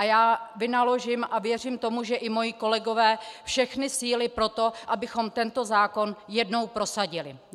A já vynaložím, a věřím tomu, že i moji kolegové, všechny síly pro to, abychom tento zákon jednou prosadili.